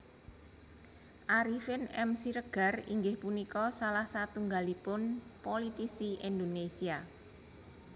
Arifin M Siregar inggih punika salah satunggalipun politisi Indonésia